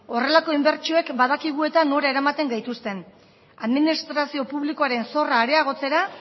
horrelako inbertsioek badakigu eta nora eramaten gaituzten administrazio publikoaren zorra areagotzera